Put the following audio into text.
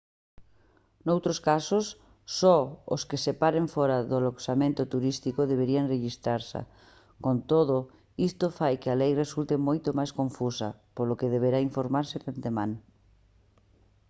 noutros casos só os que se paren fóra de aloxamentos turísticos deberán rexistrarse con todo isto fai que a lei resulte moito máis confusa polo que deberá informarse de antemán